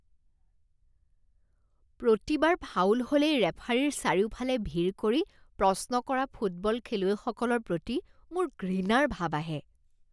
প্ৰতিবাৰ foul হ'লেই ৰেফাৰীৰ চাৰিওফালে ভিৰ কৰি প্ৰশ্ন কৰা ফুটবল খেলুৱৈসকলৰ প্ৰতি মোৰ ঘৃণাৰ ভাৱ আহে৷